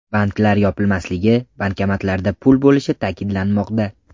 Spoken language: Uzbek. Banklar yopilmasligi, bankomatlarda pul bo‘lishi ta’kidlanmoqda.